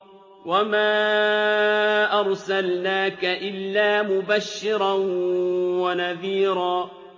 وَمَا أَرْسَلْنَاكَ إِلَّا مُبَشِّرًا وَنَذِيرًا